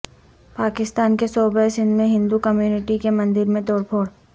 پاکستان کے صوبہ سندھ میں ہندو کمیونٹی کے مندر میں توڑ پھوڑ